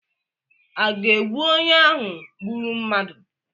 A ga-egbu onye ahụ gburu mmadụ?